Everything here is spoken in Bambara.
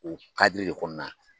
U kadiri de kɔnɔna